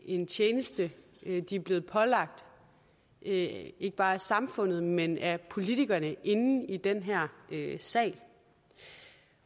en tjeneste de er blevet pålagt ikke bare af samfundet men af politikerne inde i den her sal